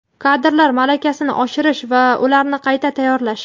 kadrlar malakasini oshirish va ularni qayta tayyorlash;.